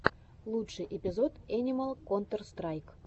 лучший эпизод энимал контэр страйк